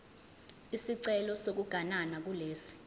isicelo sokuganana kulesi